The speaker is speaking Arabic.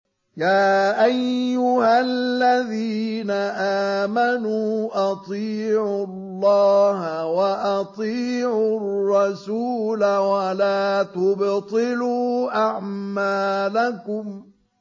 ۞ يَا أَيُّهَا الَّذِينَ آمَنُوا أَطِيعُوا اللَّهَ وَأَطِيعُوا الرَّسُولَ وَلَا تُبْطِلُوا أَعْمَالَكُمْ